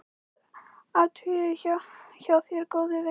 Rétt athugað hjá þér góði vinur.